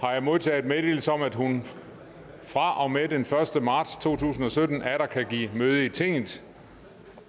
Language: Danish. har jeg modtaget meddelelse om at hun fra og med den første marts to tusind og sytten atter kan give møde i tinget